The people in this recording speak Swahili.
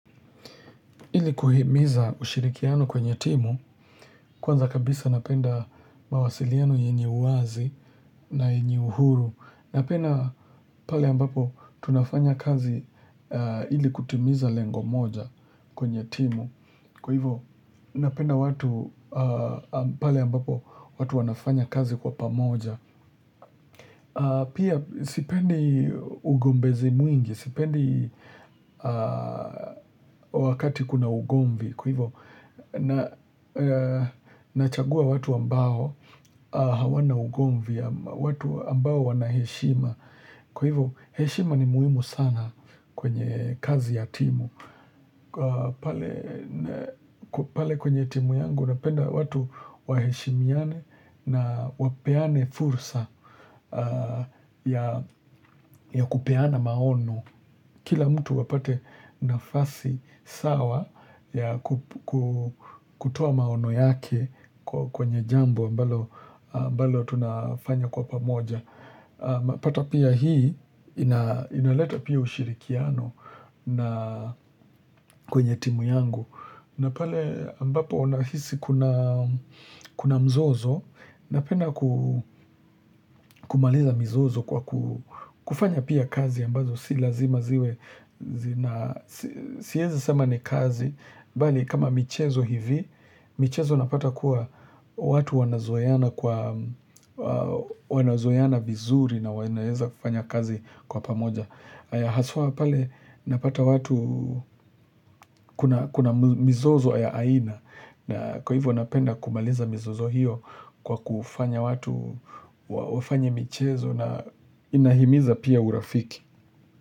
Illi kuhimiza ushirikiano kwenye timu, kwanza kabisa napenda mawasiliano yenye uwazi na yenye uhuru. Napenda pale ambapo tunafanya kazi ili kutimiza lengo moja kwenye timu. Kwa hivyo napenda watu, pale ambapo watu wanafanya kazi kwa pamoja. Pia sipendi ugombezi mwingi, sipendi wakati kuna ugomvi. Kwa hivyo, nachagua watu ambao hawana ugomvi, watu ambao wana heshima. Kwa hivyo, heshima ni muhimu sana kwenye kazi ya timu. Kwa pale kwenye timu yangu napenda watu waheshimiane na wapeane fursa ya kupeana maono. Kila mtu apate nafasi sawa ya kutoa maono yake kwenye jambo ambalo tunafanya kwa pamoja unapata pia hii, inaleta pia ushirikiano na kwenye timu yangu. Na pale ambapo unahisi kuna mzozo, napenda kumaliza mzozo kwa kufanya pia kazi ambazo si lazima ziwe. Na siezi sema ni kazi bali kama michezo hivi michezo napata kuwa watu wanazoeana kwa wanazoeana vizuri na wanaeza kufanya kazi kwa pamoja haswa pale napata watu kuna mizozo ya aina na kwa hivyo napenda kumaliza mizozo hiyo kwa kufanya watu wafanye michezo na inahimiza pia urafiki. Kwa hivyo.